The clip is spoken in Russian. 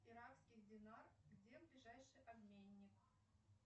иранский динар где ближайший обменник